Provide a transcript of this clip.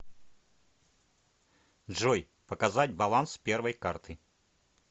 джой показать баланс первой карты